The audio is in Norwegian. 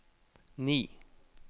ni